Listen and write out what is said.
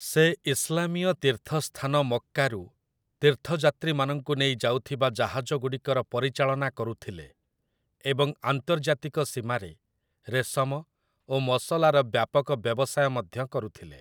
ସେ ଇସଲାମିୟ ତୀର୍ଥ ସ୍ଥାନ ମକ୍କାରୁ ତୀର୍ଥଯାତ୍ରୀମାନଙ୍କୁ ନେଇ ଯାଉଥିବା ଜାହାଜଗୁଡ଼ିକର ପରିଚାଳନା କରୁଥିଲେ, ଏବଂ ଆନ୍ତର୍ଜାତିକ ସୀମାରେ ରେଶମ ଓ ମସଲାର ବ୍ୟାପକ ବ୍ୟବସାୟ ମଧ୍ୟ କରୁଥିଲେ ।